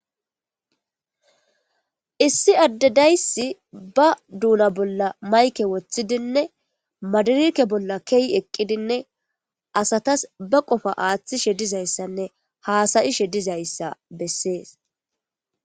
issi addedayssi ba duuna bolla mayke woththidinne madirike bolla kehi eqqidinne asatas ba qofa aaththishe dizayssanne haasayishe dizayssa bessees